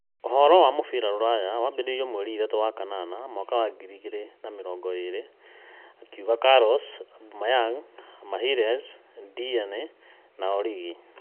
Ũhoro wa mũbira rũraya mwambĩrĩrio mweri ithatũ wa-kanana mwaka wa ngiri igĩrĩ na mĩrongo ĩĩrĩ: Carlos, Aubameyang, Magalhaes, Deeney, Origi